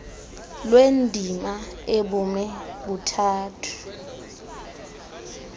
lwendima ebume buthathu